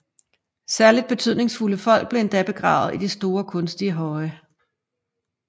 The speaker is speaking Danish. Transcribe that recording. Særligt betydningsfulde personer blev endda begravet i store kunstige høje